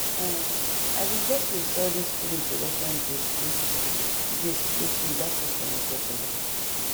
ehn i bin just wish say all this food introduction gist reach gist reach me that first time i get belly